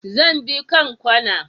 Zan bi kanƙwana.